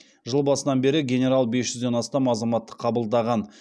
жыл басынан бері генерал бес жүзден астам азаматты қабылдаған